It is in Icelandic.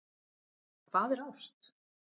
Hvað er ást?